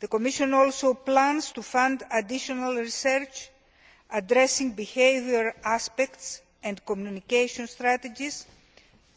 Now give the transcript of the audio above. The Commission also plans to fund additional research addressing behaviour aspects and communication strategies,